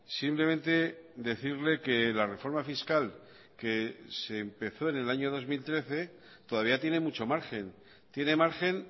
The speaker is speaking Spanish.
simplemente decirle que la reforma fiscal que se empezó en el año dos mil trece todavía tiene mucho margen tiene margen